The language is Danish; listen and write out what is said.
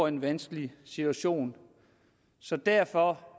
en vanskelig situation så derfor